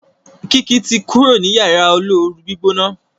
Kiki to kúrò ní Yàrá olóoru-gbígbóná.